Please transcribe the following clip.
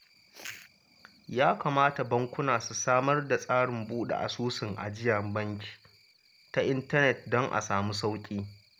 Ya kamata bankuna su samar da tsarin buɗe asusun ajiyar banki ta intanet don a samu sauƙi